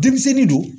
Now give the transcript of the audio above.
Denmisɛnnin don